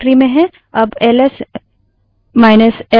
अब L SL चलाएँ